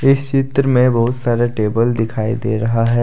इस चित्र में बहुत सारे टेबल दिखाई दे रहा है।